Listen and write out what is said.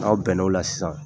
Aw bɛn'o la sisan